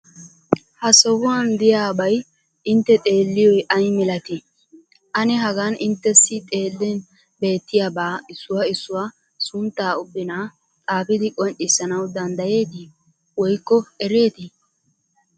Ha sohuwan de'iyabay intte xeelliyo ay milatii? Ane hagan inttessi xeellin beettiyabaa issuwa issuwa sunttaa ubnaa xaafidi qonccissanawu danddayeetii woykko ereetii?